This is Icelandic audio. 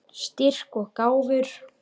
Styrk og gáfur.